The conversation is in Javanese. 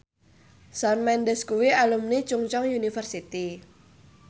Shawn Mendes kuwi alumni Chungceong University